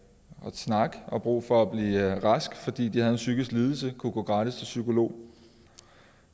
snakke og brug for at blive raske fordi de har en psykisk lidelse kan gå gratis til psykolog